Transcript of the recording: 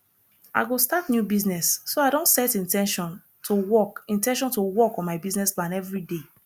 i go start new business so i don set in ten tion to work in ten tion to work on my business plan every day